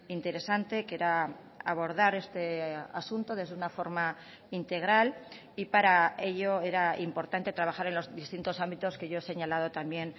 interesante que era abordar este asunto desde una forma integral y para ello era importante trabajar en los distintos ámbitos que yo he señalado también